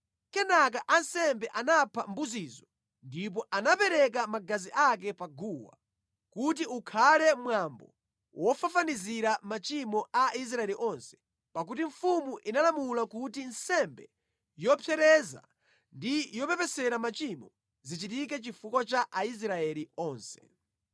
Kenaka ansembe anapha mbuzizo ndipo anapereka magazi ake pa guwa, kuti ukhale mwambo wofafanizira machimo a Aisraeli onse, pakuti mfumu inalamula kuti nsembe yopsereza ndi yopepesera machimo zichitike chifukwa cha Aisraeli onse.